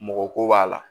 Mɔgɔ ko b'a la